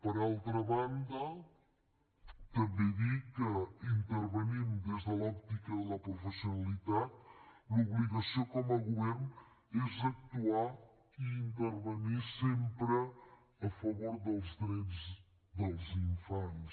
per altra banda també dir que intervenint des de l’òptica de la professionalitat l’obligació com a govern és actuar i intervenir sempre a favor dels drets dels infants